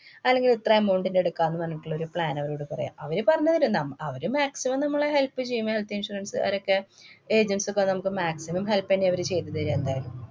അല്ലെങ്കിൽ ഇത്ര amonut ന്‍റെ ഇടുക്കാം എന്ന് പറഞ്ഞിട്ടുള്ള ഒരു plan അവരോട് പറയാം. അവര് പറഞ്ഞു തരും. ന്മ~ അവര് maximum നമ്മളെ help ചെയ്യും. health insurance കാരൊക്കെ. agents ഒക്കെ നമുക്ക് maximum help ന്നെയാ അവര് ചെയ്തു തര്യാ എന്തായാലും.